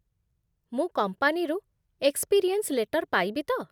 ମୁଁ କମ୍ପାନୀରୁ experience letter ପାଇବି ତ?